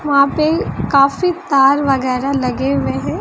वहां पे काफी तार वगैरा लगे हुए हैं।